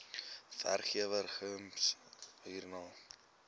werkgewer gems hiermee